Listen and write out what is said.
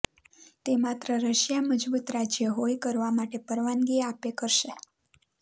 તે માત્ર રશિયા મજબૂત રાજ્ય હોઈ કરવા માટે પરવાનગી આપે કરશે